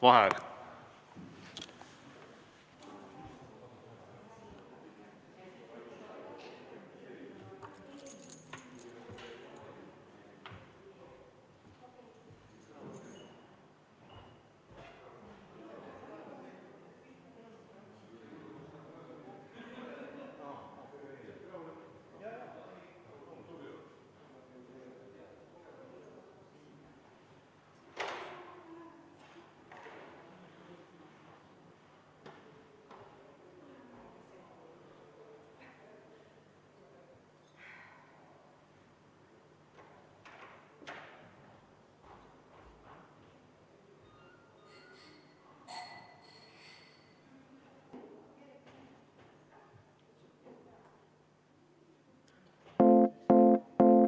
Vaheaeg.